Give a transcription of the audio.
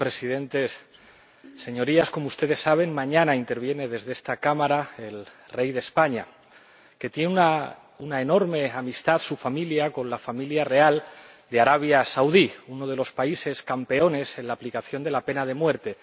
Señor Presidente, Señorías, como ustedes saben, mañana interviene en esta Cámara el rey de España, cuya familia tiene una enorme amistad con la familia real de Arabia Saudí, uno de los países campeones en la aplicación de la pena de muerte.